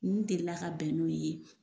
N delila ka bɛn n'u ye